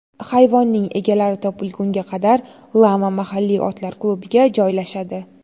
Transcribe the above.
Hayvonning egalari topilgunga qadar, lama mahalliy otlar klubiga joylashadi.